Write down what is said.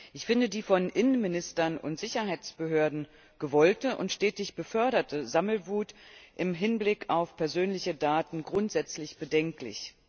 Ich finde die von Innenministern und Sicherheitsbehörden gewollte und stetig geförderte Sammelwut im Hinblick auf persönliche Daten grundsätzlich bedenklich.